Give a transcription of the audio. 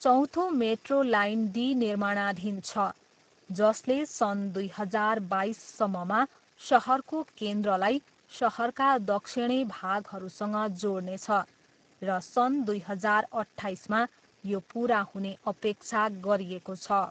चौथो metro line D निर्माणाधीन छ, जसले सन् दुई हजार बाइससम्ममा सहरको केन्द्रलाई सहरका दक्षिणी भागहरूसँग जोड्नेछ र सन् दुई हजार अट्ठाइसमा यो पुरा हुने अपेक्षा गरिएको छ।